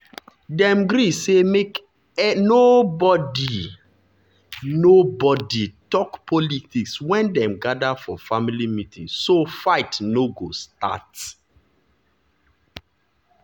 dem gree say make nobody nobody talk politics wen dem gather for family meeting so fight no go start.